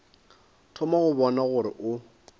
thoma go bona gore o